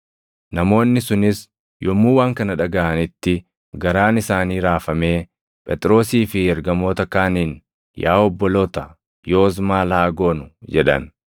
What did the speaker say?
Namoonni sunis yommuu waan kana dhagaʼanitti, garaan isaanii raafamee Phexrosii fi ergamoota kaaniin, “Yaa obboloota, yoos maal haa goonu?” jedhan.